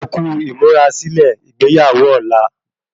Ẹkú ímúrasílè igbeyawo ọ̀la